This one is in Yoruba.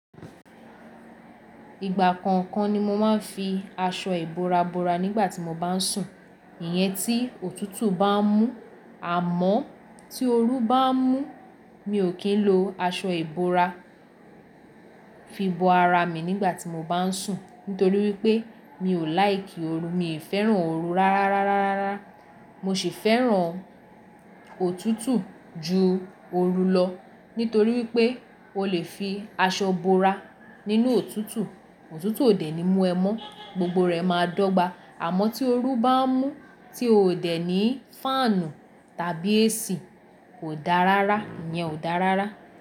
Ìgbà kọ̀ọ̀kan ni mo máa ń fi aṣọ ìbora bora nígbà tí mo bá ń sùn. Ìyẹn tí òtútù bá ń mú, àmọ́ tí oru bá ń mú, mi ò kí ń lo aṣọ ìbora fi bo ara mi nígbà tí mo bá ń sùn. Nítorí wípé mi ò láìkì oru, mi ò fẹ́ràn oru rárá, mo sì fẹ́ràn òtútù ju oru lọ, nítorí wípé o le fi aṣọ bora nínú òtútù. Òtútù òdè ni mú ẹ mọ́, gbogbo rẹ máa dọ́gba. Àmọ́ tí oru bá ń mú tí o ò dẹ̀ ní fáànù tàbí AC kò dáa rárá, ìyẹn o dáa rárá.